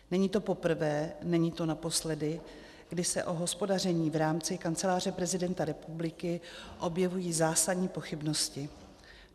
Není to poprvé, není to naposledy, kdy se o hospodaření v rámci Kanceláře prezidenta republiky objevují zásadní pochybnosti.